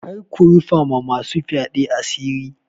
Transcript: Kar ku rufa ma masu fyaɗe asiri.